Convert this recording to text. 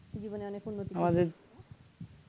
জীবনে অনেক উন্নতি করবে